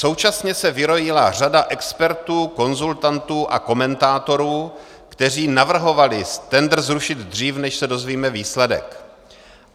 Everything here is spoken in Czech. Současně se vyrojila řada expertů, konzultantů a komentátorů, kteří navrhovali tendr zrušit dřív, než se dozvíme výsledek.